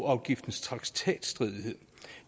afgiftens traktatstridighed